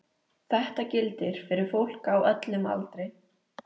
Þetta gildir fyrir fólk á öllum aldri.